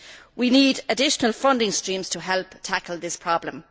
We need additional funding streams to help tackle this problem.